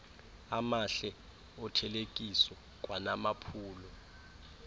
amahle othelekiso kwanamaphulo